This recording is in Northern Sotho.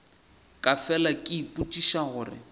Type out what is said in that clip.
ke fela ke ipotšiša gore